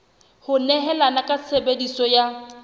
ho nehelana ka tshebeletso ya